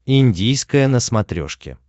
индийское на смотрешке